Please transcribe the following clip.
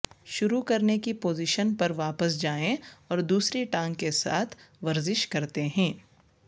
شروع کرنے کی پوزیشن پر واپس جائیں اور دوسری ٹانگ کے ساتھ ورزش کرتے ہیں